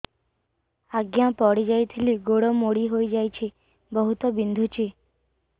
ଆଜ୍ଞା ପଡିଯାଇଥିଲି ଗୋଡ଼ ମୋଡ଼ି ହାଇଯାଇଛି ବହୁତ ବିନ୍ଧୁଛି